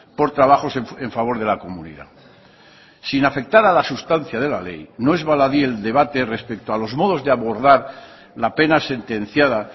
por trabajos en favor de la comunidad sin afectar a la sustancia de la ley no es baladí el debate respecto a los modos de abordar la pena sentenciada